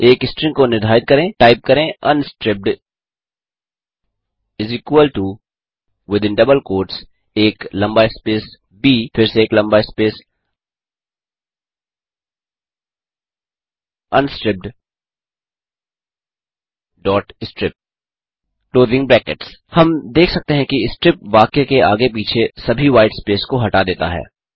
एक स्ट्रिंग को निर्धारित करें टाइप करे अनस्ट्रिप्ड विथिन डबल क्वोट्स एक लम्बा स्पेस ब फिर से एक लम्बा स्पेस unstrippedstrip हम देख सकते हैं कि स्ट्रिप वाक्य के आगे पीछे सभी व्हाईट स्पेस को हटा देता है